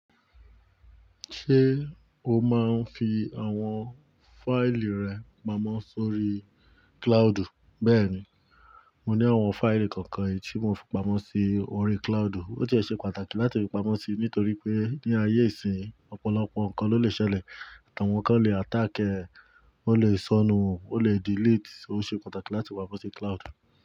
Ṣé o máa ń fi àwọn fáìlì rẹ pamọ́ sórí cloudu? Bẹ́ẹ̀ni, mo ní àwọn fáìlì kọ̀ọ̀kan èyí tí mo n fi pamọ́ sí orí cloudu. Ó ti ẹ̀ ṣe pàtàkì láti fi pamọ́ sí, nítorí pé ní ayé ìsìn ọ̀pọ̀lọpọ̀ nǹkan ló lè ṣẹlẹ̀. Wọn kan lè attack ẹ, ó lè sọnù, ó lè delete, ó ṣe pàtàkì láti fi pamọ́ sí cloud.